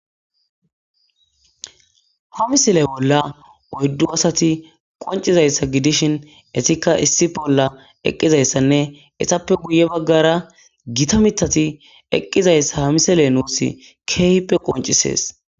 Ha misile bola oydu asati qonc'izaysa gidishin etika issi bola eqizaysanne itape guye bagara gita mitati eqizaysa ha misile nus kehippe qonc'ises.